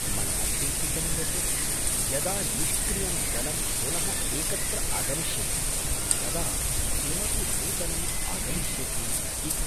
मया चिन्तितं यत् यदा निष्क्रियं दलं पुनः एकत्र आगमिष्यति तदा किमपि नूतनं आगमिष्यति इति...